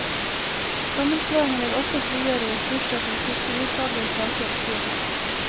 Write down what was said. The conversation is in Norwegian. Sammenslåingen vil også frigjøre ressurser til fiskerifaglige saker, sier han.